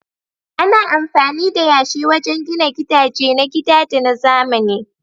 Ana amfani da yashi wajen gina gidaje na gida da na zamani.